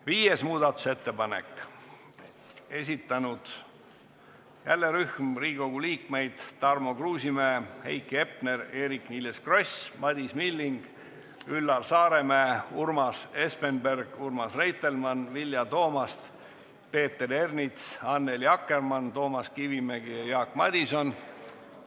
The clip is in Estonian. Viies muudatusettepanek, esitanud jälle rühm Riigikogu liikmeid: Tarmo Kruusimäe, Heiki Hepner, Eerik-Niiles Kross, Madis Milling, Üllar Saaremäe, Urmas Espenberg, Urmas Reitelmann, Vilja Toomast, Peeter Ernits, Annely Akkermann, Toomas Kivimägi ja Jaak Madison.